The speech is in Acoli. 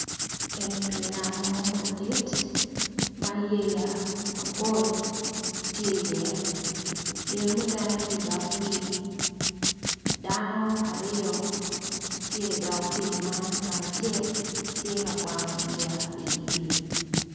Eni pi nam mo madit ma yeya mapol tye i ye yeya mukene tye i dok pi dano aryo tye i dog pi man ngat acel tye ka kwango yeya i pi.